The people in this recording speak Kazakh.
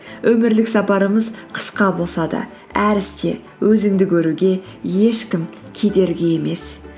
өмірлік сапарымыз қысқа болса да әр істе өзіңді көруге ешкім кедергі емес